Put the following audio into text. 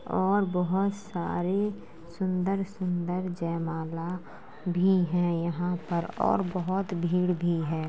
और बहुत सारे सुंदर-सुंदर जयमाला भी है यहाँ पर और बहुत भीड़ भी है।